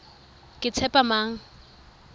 ketshepamang